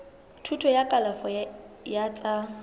thuto ya kalafo ya tsa